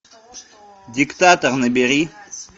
диктатор набери